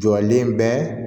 Jɔlen bɛ